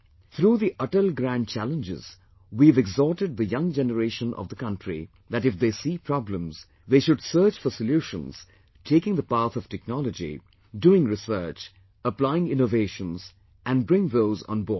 Through the 'Atal Grand Challenges' we have exhorted the young generation of the country that if they see problems, they should search for solutions taking the path of technology, doing research, applying innovations and bring those on board